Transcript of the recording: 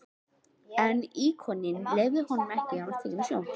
En íkoninn leyfði ekki að hann væri tekinn af sjónum.